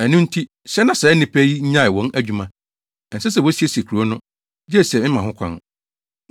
Ɛno nti, hyɛ na saa nnipa yi nnyae wɔn adwuma. Ɛnsɛ sɛ wosiesie kurow no, gye sɛ mema ho kwan.